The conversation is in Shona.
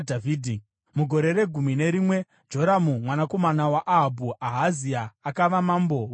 (Mugore regumi nerimwe raJoramu mwanakomana waAhabhu, Ahazia akava mambo weJudha.)